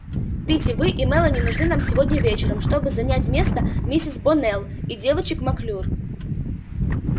питти вы и мелани нужны нам сегодня вечером чтобы занять место миссис боннелл и девочек маклюр